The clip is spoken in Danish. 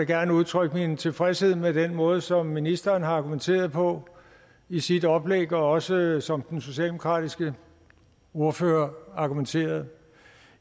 gerne udtrykke min tilfredshed med den måde som ministeren har argumenteret på i sit oplæg og også som den socialdemokratiske ordfører argumenterede